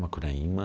Macunaíma.